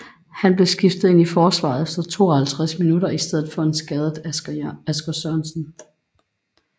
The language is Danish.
Han blev skiftet ind i forsvaret efter 52 minutter i stedet for en skadet Asger Sørensen